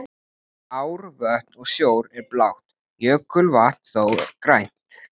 Ár, vötn og sjór er blátt, jökulvatn þó grænt.